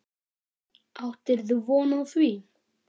Áttirðu von á því?